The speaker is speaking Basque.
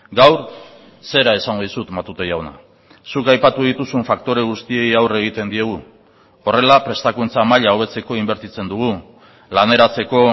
gaur zera esango dizut matute jauna zuk aipatu dituzun faktore guztiei aurre egiten diegu horrela prestakuntza maila hobetzeko inbertitzen dugu laneratzeko